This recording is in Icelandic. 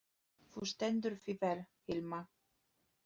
Þú stendur þig vel, Hilma!